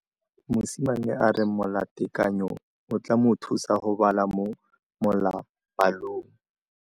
Mosimane a re molatekanyô o tla mo thusa go bala mo molapalong.